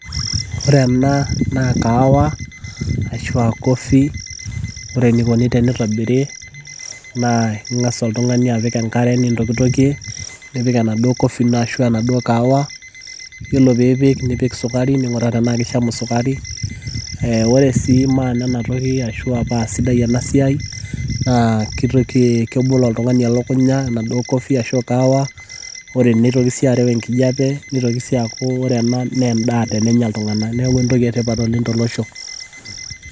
Ore ena naa kaawa ashuua coffee ore eneikoni teneitobiri naa ing'as oltung'ani apik enkare nintokitokie nipik enaduoo kaawa iyiolo piipik ,nipik sukari ning'uraa tenaa keishamu sukari ee ore sii maana ena toki ashua paa sidai ena siai naa keitoki kebol oltung'ani elukunya enaduo coffee ashuua kaawa ore neitoki sii areu enkijape piaku ore ena naa endaa tenenya iltung'anak neeku entoki etipat tolosho.